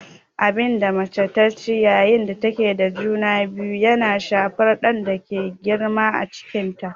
Abinda mace taci yayin da take ɗauke da juna biyu yana shafar ɗan da ke girma a cikinta